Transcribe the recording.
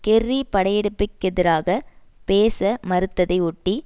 Kerry படையெடுப்பிற்கெதிராக பேச மறுத்ததை ஒட்டி